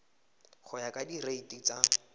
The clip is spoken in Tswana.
go ya ka direiti tsa